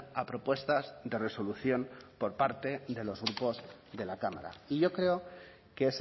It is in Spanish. a propuestas de resolución por parte de los grupos de la cámara y yo creo que